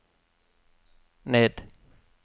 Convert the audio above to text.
ned